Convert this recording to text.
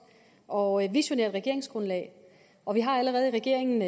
og visionært regeringsgrundlag og vi har allerede i regeringen